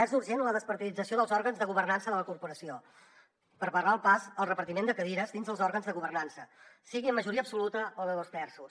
és urgent la despartidització dels òrgans de governança de la corporació per barrar el pas al repartiment de cadires dins dels òrgans de governança sigui en majoria absoluta o de dos terços